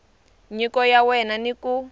nyiko ya wena ni ku